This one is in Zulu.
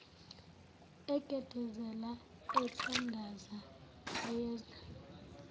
egedezela ethandaza wayezwa